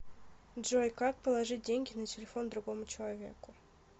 джой как положить деньги на телефон другому человеку